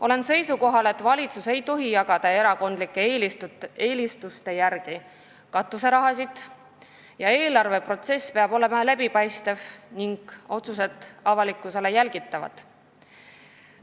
Olen seisukohal, et valitsus ei tohi jagada erakondlike eelistuste järgi katuseraha, eelarveprotsess peab olema läbipaistev ning otsused avalikkusele jälgitavad.